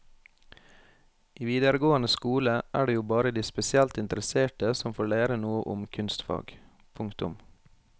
I videregående skole er det jo bare de spesielt interesserte som får lære noe om kunstfag. punktum